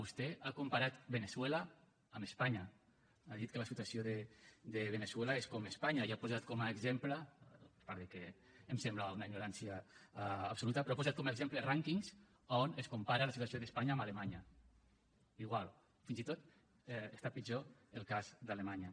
vostè ha comparat veneçuela amb espanya ha dit que la situació de veneçuela és com espanya i ha posat com a exemple a part de que em sembla una ignorància absoluta rànquings on es compara la situació d’espanya amb alemanya igual fins i tot està pitjor el cas d’alemanya